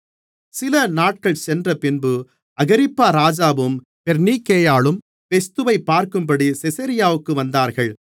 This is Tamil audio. சிலநாட்கள் சென்றபின்பு அகிரிப்பா ராஜாவும் பெர்னீக்கேயாளும் பெஸ்துவைப் பார்க்கும்படி செசரியாவிற்கு வந்தார்கள்